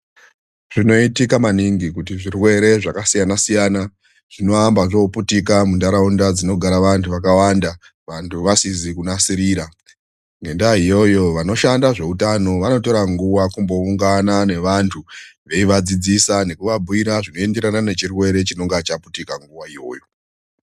Zvinoitika maningi kuti zvirwere zvakasiyana siyana zvinoamba zvoputika mundau dzinogara antu akawanda ,vantu vasizi kunasirira ngenda iyoyo vanoshanda zvehutano vanotora nguva kumboungana nevantu veivadzidzisa nekuvabhuira chirwere chinenge chaitika munguva iyoyo.